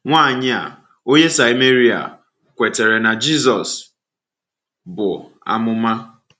Nwanyị a, onye Sameria, kwetara na Jizọs bụ amụma.